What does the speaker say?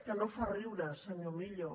que no fa riure senyor millo